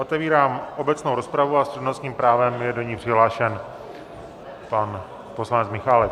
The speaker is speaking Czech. Otevírám obecnou rozpravu a s přednostním právem je do ní přihlášen pan poslanec Michálek.